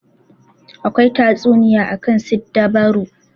Akwai tatsuniya akan siddabaru.